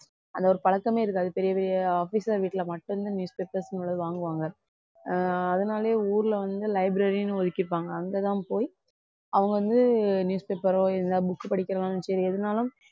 அந்த ஒரு பழக்கமே இருக்காது பெரிய பெரிய officer வீட்ல மட்டும்தான் newspapers ங்குள்ளது வாங்குவாங்க ஆஹ் அதனாலேயே ஊர்ல வந்து library ன்னு ஒதுக்கிருப்பாங்க. அங்கதான் போயி, அவங்க வந்து newspapers ஓ இல்லை book படிக்கறதா இருந்தாலும் சரி எதுனாலும்